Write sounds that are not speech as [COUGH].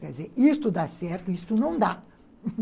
Quer dizer, isto dá certo, isto não dá. [LAUGHS]